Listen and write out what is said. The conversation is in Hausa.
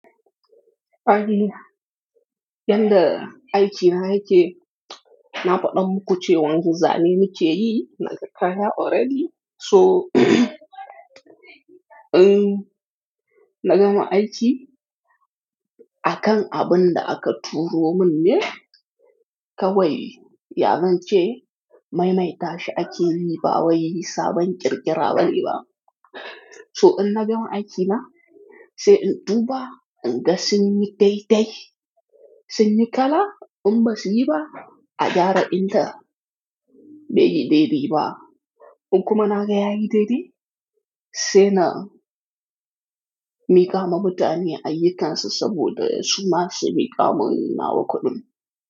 Yadda aikina yake, na faɗa muku cewan wanzu zane nake yi na kaya already. So in na gama aiki, akan abun da aka turo mun ne kawai, ya zance, maimaita shi ake yi ba wai yi sabon ƙirƙiraɓa ne ba. So in na gama aikina, sai in tuba in ga sun yi taici, sun yi kala in basu yi ba, a gyara insa, bai bai baiyi. In kuma na ga ya yi dai dai, sai na miƙa ma mutane ayyukansu saboda su ma su miƙa mun na waƙoɗin.